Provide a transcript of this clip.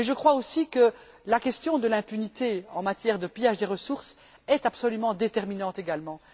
Mais je crois aussi que la question de l'impunité en matière de pillage des ressources est absolument déterminante également.